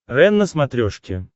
рен на смотрешке